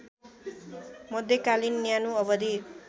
मध्यकालीन न्यानो अवधि